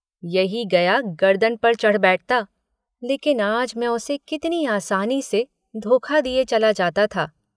यही गया गरदन पर चढ़ बैठता, लेकिन आज मैं उसे कितनी आसानी से धोखा दिये चला जाता था।